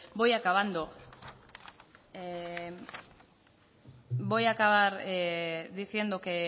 voy acabando voy a acabar diciendo que